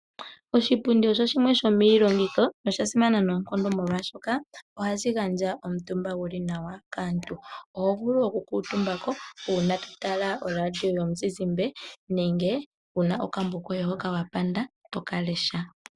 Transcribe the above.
Oshipundi osho shimwe sho miilongithomwa sha simana noonkondo, molwashoka ohashi gandja omutumba guli nawa kaantu. Oho vulu okukuutumba ko uuna to tala oradio yomuzizimba nenge wu na okambo koye hoka wa panda to ka lesha.